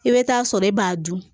I bɛ taa sɔrɔ e b'a dun